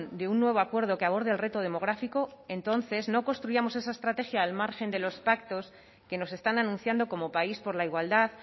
de un nuevo acuerdo que aborde el reto demográfico entonces no construyamos esa estrategia al margen de los pactos que nos están anunciando como país por la igualdad